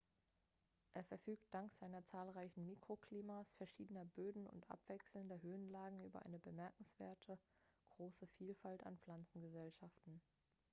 er verfügt dank seiner zahlreichen mikroklimas verschiedener böden und abwechselnder höhenlagen über eine bemerkenswert große vielfalt an pflanzengesellschaften